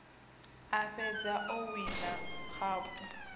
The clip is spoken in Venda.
a fhedza o wina khaphu